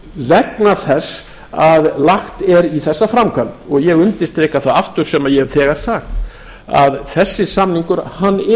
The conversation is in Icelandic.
vegna þess að lagt er í þessa framkvæmd og ég undirstrika það aftur sem ég hef þegar sagt að þessi samningur